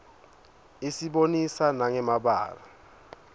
isibonisa nanqe mabalaue